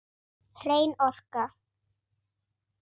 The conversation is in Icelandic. Hrein orka.